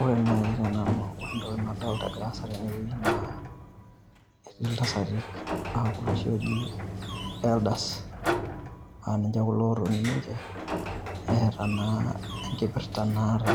Ore naaji te nanu ore entoki nadolita egira aasa tene wueji naa etii iltasati, aa kulo oshi ooji elders aa ninche kulo ootoni ninche eeta naa enkipirta naata.